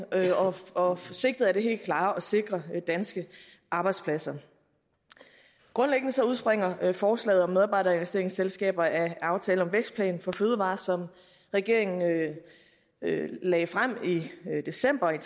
og sigtet er det helt klare at sikre danske arbejdspladser grundlæggende udspringer forslaget om medarbejderinvesteringsselskaber af aftale om vækstplan for fødevarer som regeringen lagde frem i december